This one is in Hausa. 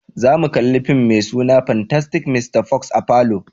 Zamu kalla fim mai suna "Fantastic Mr. Fox "a'falo.